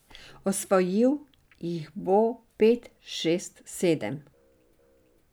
Osvojil jih bo pet, šest, sedem.